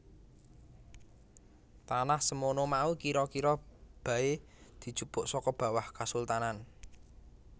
Tanah semono mau kira kira baé dijupuk saka bawah Kasultanan